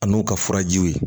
A n'u ka furajiw ye